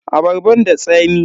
Abarban da tsami?